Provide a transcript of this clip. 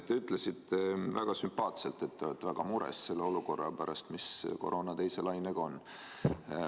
Te ütlesite väga sümpaatselt, et te olete väga mures selle olukorra pärast, mis koroona teise laine tõttu on.